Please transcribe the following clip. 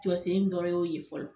Jɔ sen dɔrɔn y'o ye fɔlɔ.